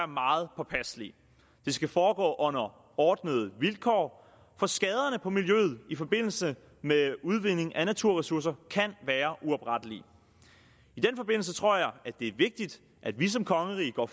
meget påpasselige det skal foregå under ordnede vilkår for skaderne på miljøet i forbindelse med udvinding af naturressourcer kan være uoprettelige i den forbindelse tror jeg det er vigtigt at vi som kongerige går